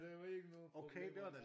Der var ikke nogen problemer der